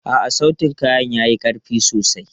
A'a, sautin kayan ya yi ƙarfi sosai.